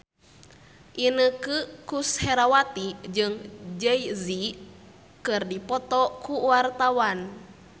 Inneke Koesherawati jeung Jay Z keur dipoto ku wartawan